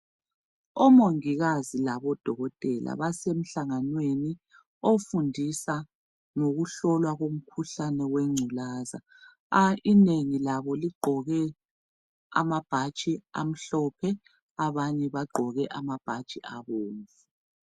OMongikazi laboDokotela basemhlanganweni ofundisa ngokuhlolwa komkhuhlane we ngculaza. a! Inengi labo ligqoke amabhatshi amhlophe abanye bagqoke amabhatshi abomvu.